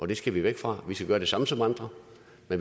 det skal vi væk fra vi skal gøre det samme som andre